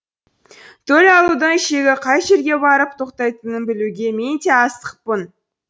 төл алудың шегі қай жерге барып тоқтайтынын білуге мен де асықпын